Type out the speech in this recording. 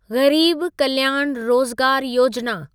ग़रीब कल्याण रोज़गार योजिना